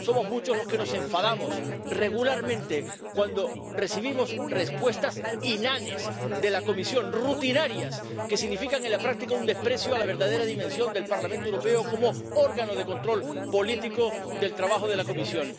Somos muchos los que nos enfadados regularmente cuando recibimos respuestas inanes de la Comisión, rutinarias, que significan en la práctica un desprecio a la verdadera dimensión del Parlamento Europeo como órgano de control político del trabajo de la Comisión.